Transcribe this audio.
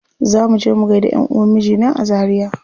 Za muje mu gaida ƴanʼuwan mijina a zaria.